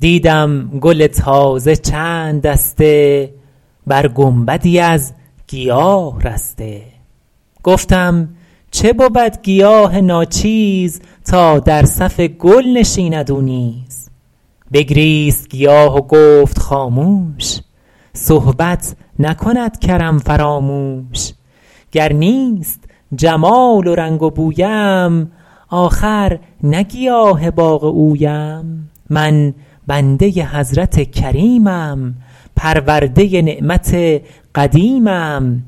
دیدم گل تازه چند دسته بر گنبدی از گیاه رسته گفتم چه بود گیاه ناچیز تا در صف گل نشیند او نیز بگریست گیاه و گفت خاموش صحبت نکند کرم فراموش گر نیست جمال و رنگ و بویم آخر نه گیاه باغ اویم من بنده حضرت کریمم پرورده نعمت قدیمم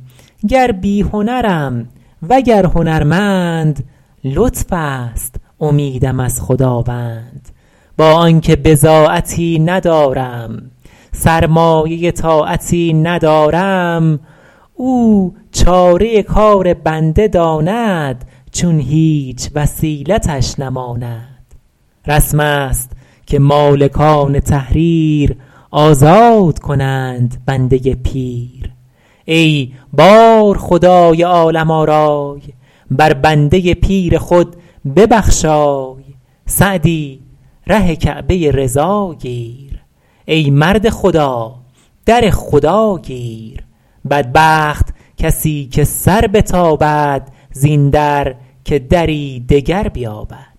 گر بی هنرم وگر هنرمند لطف است امیدم از خداوند با آن که بضاعتی ندارم سرمایه طاعتی ندارم او چاره کار بنده داند چون هیچ وسیلتش نماند رسم است که مالکان تحریر آزاد کنند بنده پیر ای بارخدای عالم آرای بر بنده پیر خود ببخشای سعدی ره کعبه رضا گیر ای مرد خدا در خدا گیر بدبخت کسی که سر بتابد زین در که دری دگر بیابد